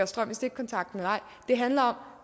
strøm i stikkontakten eller ej det handler